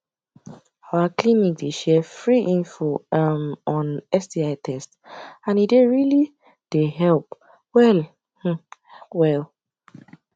our clinic dey share free info um on sti test and e dey really dey help well um well